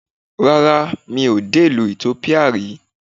Rárá, mi ò dé ìlú Ethiopia rí